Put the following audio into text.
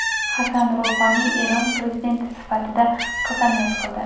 Hasan Ruhoniy Eron prezidenti sifatida qasamyod qildi.